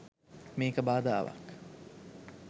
මේක බාධාවක්